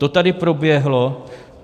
To tady proběhlo.